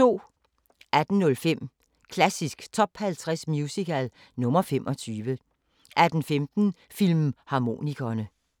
18:05: Klassisk Top 50 Musical – nr. 25 18:15: Filmharmonikerne